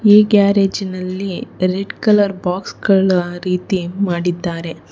ಈ ಗ್ಯಾರೆಜಿನಲ್ಲಿ red colour ಬಾಕ್ಸ್ಗಳ ರೀತಿ ಮಾಡಿದ್ದಾರೆ.